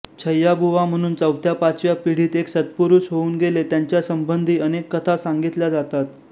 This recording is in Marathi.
छय्याबुवा म्हणून चौथ्या पाचव्या पिढीत एक सत्पुरुष होऊन गेले त्यांच्या संबंधी अनेक कथा सांगितल्या जातात